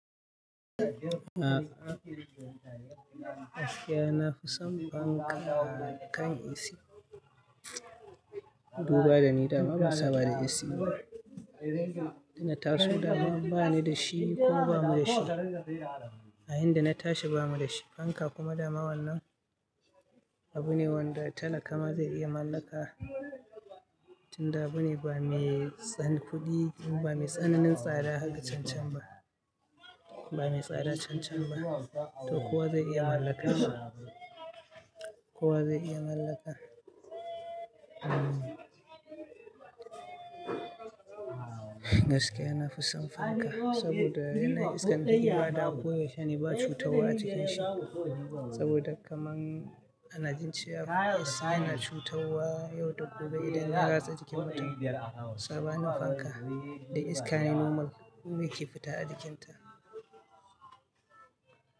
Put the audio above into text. A, gaskiya na fi son fanka kan ac. Duba da ni dama ban saba da ac ba. Ina tarso dama bani da shi ko ba mu da shi. A inda na tashi ba mu da shi. Fanka kuma dama wannan abu ne wanda talaka ma zai iya mallaka. Tun da abu ne ba mai san kuɗi ba mai tsananin tsada haka can can ba. Ba mai tsada can can ba. To kowa zai iya mallaka. Kowa zai iya mallaka. Umm, gaskiya na fi son fanka saboda yanayin iskan da yake badawa ko yaushe ne ba cutarwa a cikin shi. Saboda kaman ana jin cewa ac yana cutarwa yau da gobe idan ya ratsa jikin mutum. Sabanin fanka da iska ne normal wanda ke fita a jikin ta.